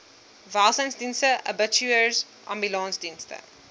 welsynsdienste abattoirs ambulansdienste